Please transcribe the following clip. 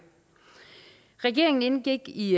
regeringen indgik i